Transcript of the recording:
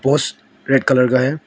Post red colour का है।